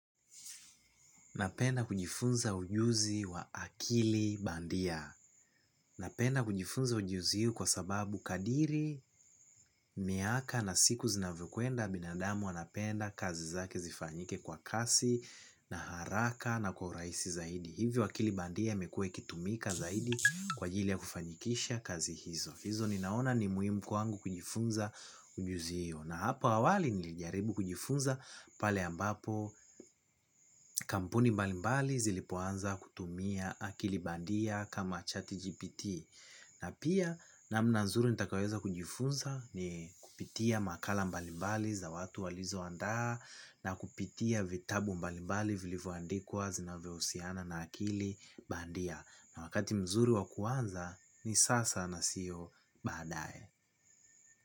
Napenda kujifunza ujuzi wa akili bandia. Napenda kujifunza ujuzi huu kwa sababu kadiri miaka na siku zinavyo kwenda binadamu wanapenda kazi zake zifanyike kwa kasi na haraka na kwa urahisi zaidi. Hivyo akili bandia imekua ikitumika zaidi kwa ajili ya kufanikisha kazi hizo. Hizo ninaona ni muhimu kwangu kujifunza ujuzi huo na hapo awali nilijaribu kujifunza pale ambapo kampuni mbali mbali zilipoanza kutumia akili bandia kama chati GPT. Na pia namna nzuri nitakayo weza kujifunza ni kupitia makala mbali mbali za watu walizoandaa na kupitia vitabu mbali mbali vilivoandikwa zinavohusiana na akili bandia. Na wakati mzuri wa kuanza ni sasa na sio badaye.